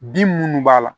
Bin munnu b'a la